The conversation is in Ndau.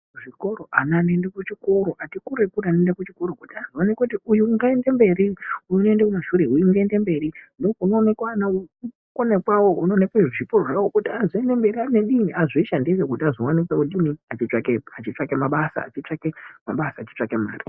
Zvikoro, ana anoende kuchikoro, ati kure-kure anoende kuchikoro kuti vanongoti uyu ngaaende kumberi, uyu unoende kumashure, uyu unoende kumberi, ndoo kunoonekwa ana kukona kwawo, kuonekwe zvipo zvevo kuti azondomira mberi, azvishandire achitsvake mabasa, achitsvake mare.